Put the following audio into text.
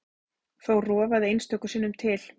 Þó rofaði einstöku sinnum til.